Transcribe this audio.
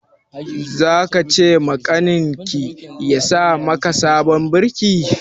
Za ka ce makaniki ya sa maka sabon birki?